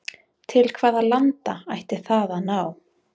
Til hvaða landa ætti það að ná?